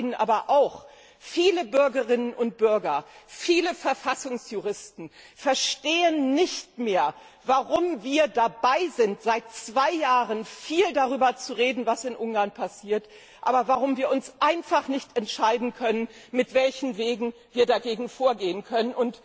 Ich sage Ihnen aber auch Viele Bürgerinnen und Bürger, viele Verfassungsjuristen verstehen nicht mehr, warum wir seit zwei Jahren viel darüber reden, was in Ungarn passiert, aber warum wir uns einfach nicht entschieden können, mit welchen Mitteln wir dagegen vorgehen können.